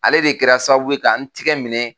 Ale de kɛra sababu ye ka n tigɛ minɛ